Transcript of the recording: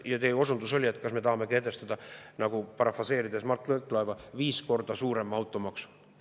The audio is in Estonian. Teie osundus oli, nagu parafraseerides Mart Võrklaeva, et kas me tahame kehtestada viis korda suurema automaksu.